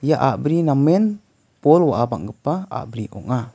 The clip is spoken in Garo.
ia a·bri namen bol wa·a bang·gipa a·bri ong·a.